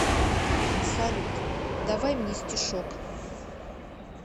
салют давай мне стишок